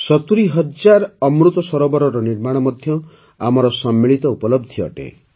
୭୦ ହଜାର ଅମୃତ ସରୋବରର ନିର୍ମାଣ ମଧ୍ୟ ଆମର ସମ୍ମିଳିତ ଉପଲବ୍ଧି ଅଟେ